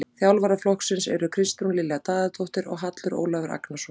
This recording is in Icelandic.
Þjálfara flokksins eru Kristrún Lilja Daðadóttir og Hallur Ólafur Agnarsson.